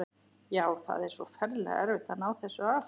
Já, það er svo ferlega erfitt að ná þessu af.